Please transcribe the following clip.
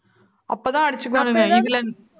அப்பதான் அடிச்சுப்பானுங்க